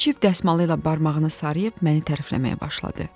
O cırt dəsmalı ilə barmağını sarıyıb məni tərəfləməyə başladı.